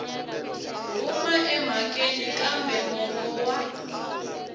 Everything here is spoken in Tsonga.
huma emhakeni kambe mongo wa